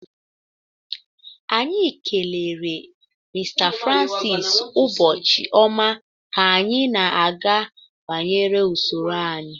Anyị kelere Mr francis ụbọchị ọma ka anyị na-aga banyere usoro anyị